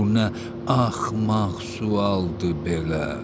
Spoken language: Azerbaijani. Bu nə axmaq sualdır belə.